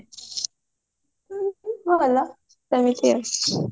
ଭଲ ସେମିତି ଆଉ